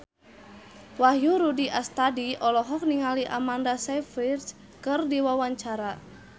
Wahyu Rudi Astadi olohok ningali Amanda Sayfried keur diwawancara